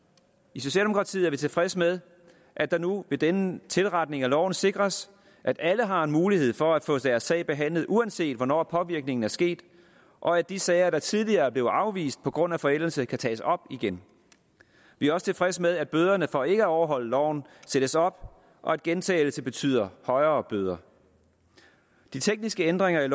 i socialdemokratiet er vi tilfredse med at det nu med denne tilretning af loven sikres at alle har en mulighed for at få deres sag behandlet uanset hvornår påvirkningen er sket og at de sager der tidligere blev afvist på grund af forældelse kan tages op igen vi er også tilfredse med at bøderne for ikke at overholde loven sættes op og at gentagelse betyder højere bøder de tekniske ændringer i